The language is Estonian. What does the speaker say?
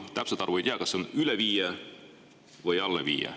Kui täpset arvu ei tea, kas üle või alla viie.